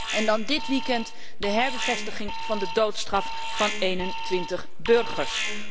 En dan dit weekend, de herbevestiging van de doodstraf van 21 burgers.